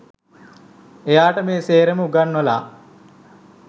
එයාට මේ සේරම උගන්වලා